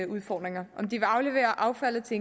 udfordringer om de vil aflevere affaldet til